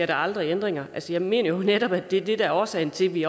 der aldrig ændringer jeg mener netop det er det der er årsagen til at vi